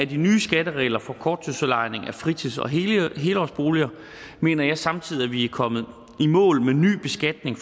de nye skatteregler for korttidsudlejning af fritids og helårsboliger mener jeg samtidig at vi er kommet i mål med en ny beskatning